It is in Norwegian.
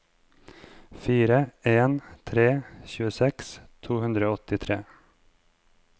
fire en fire tre tjueseks to hundre og åttitre